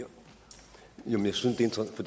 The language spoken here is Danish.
så